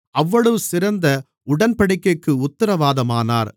அவ்வளவு சிறந்த உடன்படிக்கைக்கு உத்திரவாதமானார்